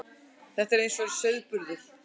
Þetta er eins og sauðburður.